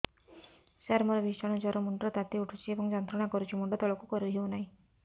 ସାର ମୋର ଭୀଷଣ ଜ୍ଵର ମୁଣ୍ଡ ର ତାତି ଉଠୁଛି ଏବଂ ଯନ୍ତ୍ରଣା କରୁଛି ମୁଣ୍ଡ ତଳକୁ କରି ହେଉନାହିଁ